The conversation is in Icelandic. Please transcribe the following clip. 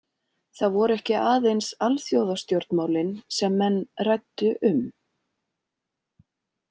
Það voru ekki aðeins alþjóðastjórnmálin sem menn ræddu um.